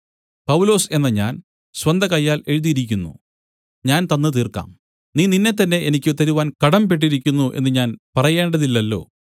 പൗലൊസ് എന്ന ഞാൻ സ്വന്തകയ്യാൽ എഴുതിയിരിക്കുന്നു ഞാൻ തന്ന് തീർക്കാം നീ നിന്നെത്തന്നെ എനിക്ക് തരുവാൻ കടംപെട്ടിരിക്കുന്നു എന്ന് ഞാൻ പറയേണ്ടതില്ലല്ലോ